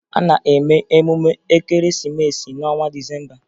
A na-eme emume Ekeresimeesi n'ọnwa Disemba